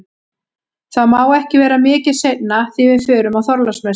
Það má ekki vera mikið seinna því við förum á Þorláksmessu